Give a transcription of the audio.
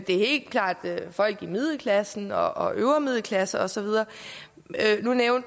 det er helt klart folk i middelklassen og og øvre middelklasse og så videre nu